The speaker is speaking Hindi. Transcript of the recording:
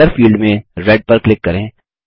कलर फील्ड में रेड पर क्लिक करें